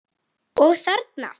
Og þarna?